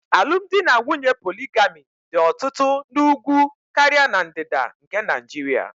Alumdinanwunye poligami dị ọtụtụ n'Úgwú karịa na Ndịda nke Naịjiria